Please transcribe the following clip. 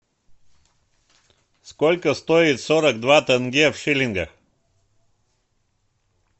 сколько стоит сорок два тенге в шиллингах